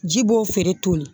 Ji b'o feere toli